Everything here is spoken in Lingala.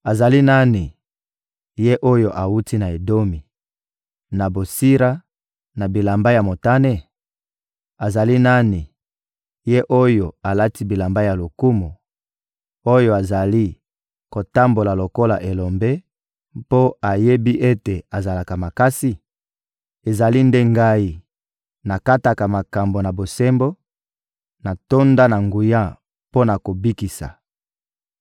Azali nani, ye oyo awuti na Edomi, na Botsira, na bilamba ya motane? Azali nani, ye oyo alati bilamba ya lokumu, oyo azali kotambola lokola elombe, mpo ayebi ete azalaka makasi? «Ezali nde Ngai; nakataka makambo na bosembo, natonda na nguya mpo na kobikisa.»